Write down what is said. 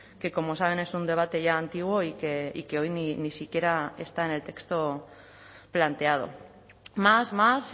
que como saben es un debate ya antiguo y que hoy ni siquiera está en el texto planteado más más